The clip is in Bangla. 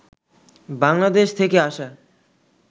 বাংলাদেশ থেকে আসা